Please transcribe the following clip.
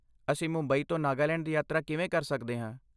ਅਸੀਂ ਮੁੰਬਈ ਤੋਂ ਨਾਗਾਲੈਂਡ ਦੀ ਯਾਤਰਾ ਕਿਵੇਂ ਕਰ ਸਕਦੇ ਹਾਂ?